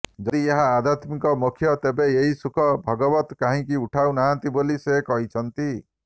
ଯଦି ଏହା ଆଧ୍ୟାତ୍ମିକ ମୋକ୍ଷ ତେବେ ଏହି ସୁଖ ଭଗବତ କାହିଁକି ଉଠାଉ ନାହାନ୍ତି ବୋଲି ସେ କହିଛନ୍ତି